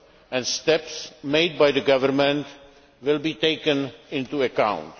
and steps made by the Government will be taken into account.